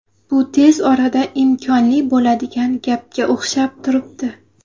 Bu tez orada imkonli bo‘ladigan gapga o‘xshab turibdi.